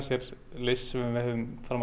list sem við höfum fram